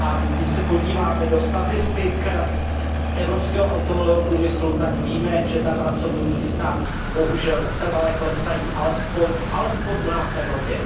Když se podíváme do statistik evropského automobilového průmyslu, tak víme, že ta pracovní místa bohužel trvale klesají, alespoň u nás v Evropě.